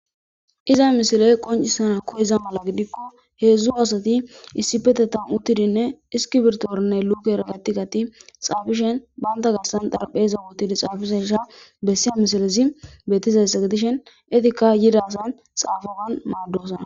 iza misiley qoncisana ko iza mala gidikko heedzdzu asati issi petetan uttidinne iskibirtorne luke ragatigati xaafishen banta gassan darapheza wutidi xaafishesha bessiya misilizi betizessa gidishen etikka yidasan xaafagan maaddosa.